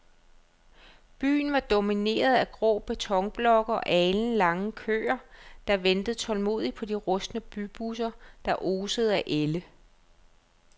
Byen var domineret af grå betonblokke og alenlange køer, der ventede tålmodigt på de rustne bybusser, der osede af ælde.